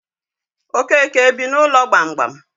Okeke ebi n'ụlọ gbamgbam?